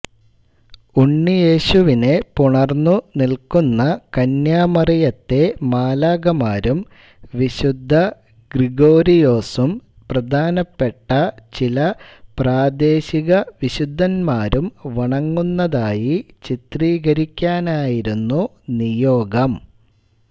ഉണ്ണിയേശുവിനെ പുണർന്നുനിൽക്കുന്ന കന്യാമറിയത്തെ മാലാഖാമാരും വിശുദ്ധ ഗ്രിഗോരിയോസും പ്രധാനപ്പെട്ട ചില പ്രാദേശിക വിശുദ്ധന്മാരും വണങ്ങുന്നതായി ചിത്രീകരിക്കാനായിരുന്നു നിയോഗം